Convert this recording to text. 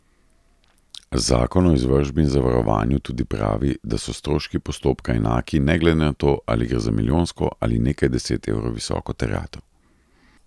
Zakon o izvršbi in zavarovanju tudi pravi, da so stroški postopka enaki ne glede na to, ali gre za milijonsko ali nekaj deset evrov visoko terjatev.